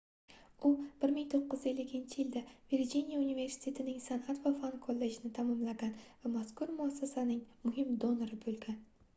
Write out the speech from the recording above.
u 1950-yilda virjiniya universitetining sanʼat va fan kollejini tamomlagan va mazkur muassasaning muhim donori boʻlgan